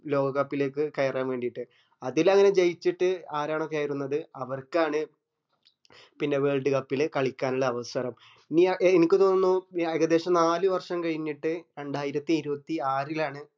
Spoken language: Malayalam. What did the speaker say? ലോക cup ലേക്ക് കയറാൻ വേണ്ടീട് അതിലങ് ജയിച്ചിട് ആരാണോ കയറുന്നതു അവർക്കാണ് പിന്നെ world cup ല് കളിക്കാന്ള്ള അവസരം നീ ആ അനക്ക് തോന്നുന്നു ഏകദേശം നാല് വര്ഷം കഴിഞ്ഞിട്ട് രണ്ടായിരത്തി ഇരുവത്തി ആറിലാണ്